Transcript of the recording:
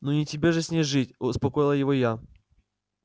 ну не тебе же с ней жить успокоила его я